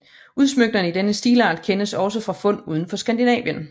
Udsmykninger i denne stilart kendes også fra fund udenfor Skandinavien